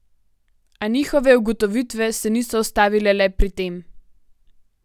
A njihove ugotovitve se niso ustavile le pri tem.